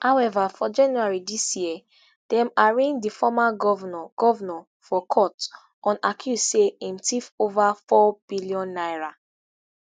however for january dis year dem arraign di former govnor govnor for court on accuse say im tiff over nfour billion naira